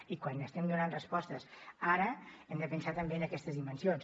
i quan estem donant respostes ara hem de pensar també en aquestes dimensions